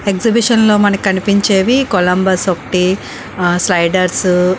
exhibition లో మనకి కనిపించేవి కొలంబస్ ఒకటి ఆ స్లైడర్స్ --